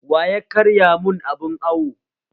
Waya karya mun abun awo?